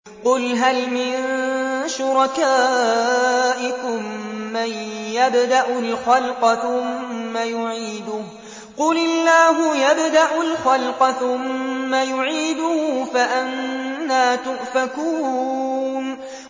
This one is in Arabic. قُلْ هَلْ مِن شُرَكَائِكُم مَّن يَبْدَأُ الْخَلْقَ ثُمَّ يُعِيدُهُ ۚ قُلِ اللَّهُ يَبْدَأُ الْخَلْقَ ثُمَّ يُعِيدُهُ ۖ فَأَنَّىٰ تُؤْفَكُونَ